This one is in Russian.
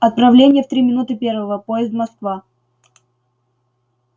отправление в три минуты первого поезд москва